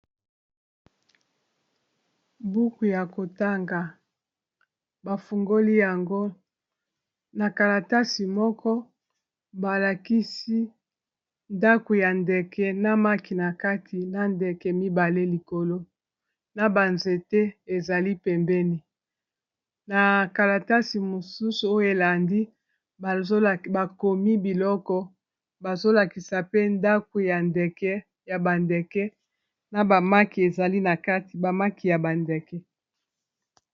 Buku ya kotanga bafungoli yango na kalatasi moko balakisi ndaku ya ndeke na maki na kati na ndeke mibale, likolo na banzete ezali pembeni na kalatasi mosusu oyo elandi bakomi biloko bazolakisa pe ndaku ya ndeke ya bandeke na bamaki ezali na kati bamaki ya bandeke.